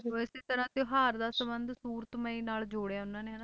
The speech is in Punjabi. ਤੇ ਉਹ ਇਸੇ ਤਰ੍ਹਾਂ ਤਿਉਹਾਰ ਦਾ ਸੰਬੰਧ ਸੂਰਤਮਈ ਨਾਲ ਜੋੜਿਆ ਉਹਨਾਂ ਨੇ ਹਨਾ,